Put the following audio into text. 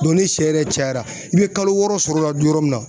ni shɛ yɛrɛ cayara, i bɛ kalo wɔɔrɔ sɔrɔ o la du yɔrɔ min na.